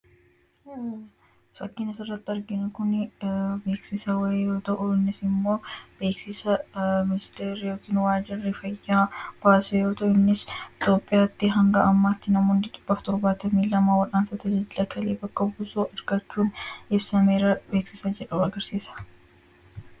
Fakkiin as irratti arginuu kun beeksisaa waayi yoo ta'u, innis moo beeksisa ministerii yookiis moo wajiirri faayaa baasee yoo ta'u, innis Itoophiyaati hanga ammatti namoonni dhibbaaf torbatamii lama wal'aansa tajaajila Kalee bakka buusuu argachuun ibsameera beeksisaa jedhu agarsisa.